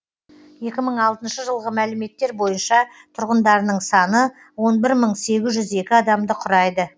екі мың алтыншы жылғы мәліметтер бойынша тұрғындарының саны он бір мың сегіз жүз екі адамды құрайды